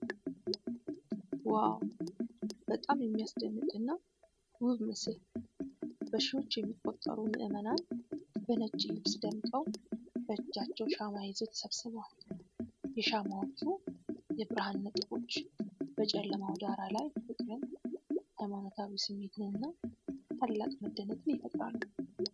ዋው! በጣም የሚያስደንቅና ውብ ምስል! በሺዎች የሚቆጠሩ ምዕመናን በነጭ ልብስ ደምቀው፣ በእጃቸው ሻማ ይዘው ተሰብስበዋል። የሻማዎቹ የብርሃን ነጥቦች በጨለማው ዳራ ላይ ፍቅርን፣ ሃይማኖታዊ ስሜትንና ታላቅ መደነቅን ይፈጥራሉ።